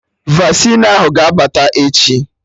Vasịn ahụ ga abata echi